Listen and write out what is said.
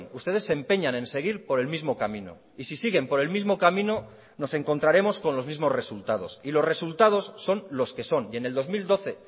ustedes se empeñan en seguir por el mismo camino y si siguen por el mismo camino nos encontraremos con los mismos resultados y los resultados son los que son y en el dos mil doce